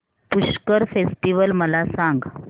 Pushkar festival मला सांग